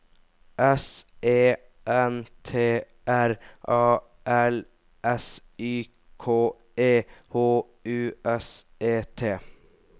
S E N T R A L S Y K E H U S E T